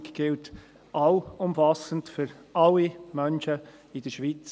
Die BV gilt allumfassend für alle Menschen in der Schweiz.